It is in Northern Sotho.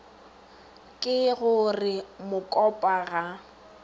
ke go re mokopa ga